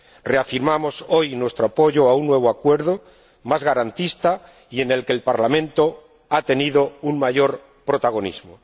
Reafirmamos hoy nuestro apoyo a un nuevo Acuerdo más garantista y en el que el Parlamento ha tenido un mayor protagonismo.